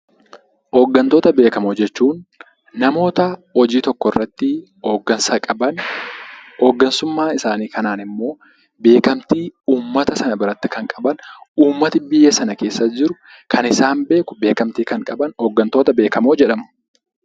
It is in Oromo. Hooggantoota beekkamoo jechuun namoota hojii tokko irratti hooggansa qaban. Hooggantummaa isaanii kanaan immoo namoota biratti fudhatama kan qaban fi uummanni biyyicha keessa jiran kan isaan beekan hooggantoota jedhamu.